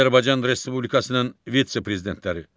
Azərbaycan Respublikasının vitse-prezidentləri.